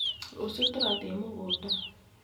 rũciũ turathiĩe mũgũnda.